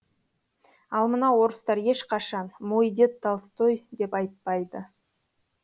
ал мына орыстар ешқашан мой дед толстой деп айтпайды